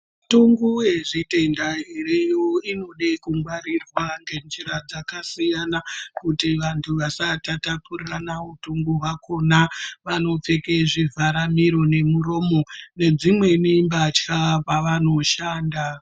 Mitongo yezvitenda zviriyo inode kungwarirwa ngenjira dzakasiyana kuti vantu vasatapurirana utungu hwakhona vanopfeka zvivhara muromo nezvimweni mbatya pavanoshanda.